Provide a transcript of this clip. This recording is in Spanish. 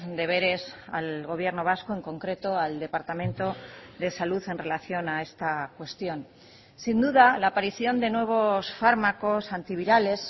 deberes al gobierno vasco en concreto al departamento de salud en relación a esta cuestión sin duda la aparición de nuevos fármacos antivirales